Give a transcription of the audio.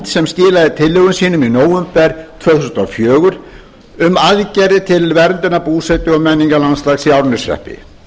sem skilaði tillögum sínum í nóvember tvö þúsund og fjögur um aðgerðir til verndunar búsetu og menningarlandslags í árneshreppi